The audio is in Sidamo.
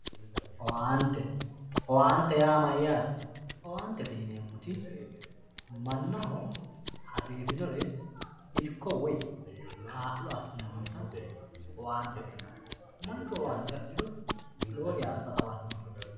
owaante owaante yaa mayaate owaantete yineemoti mannaho hasiisinore irko woye kaa'lo assinannita owaantete yinanni manchu owaante afiriro lowo geya alba xawanno